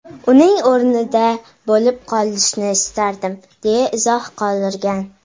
Uning o‘rnida bo‘lib qolishni istardim” , deya izoh qoldirgan.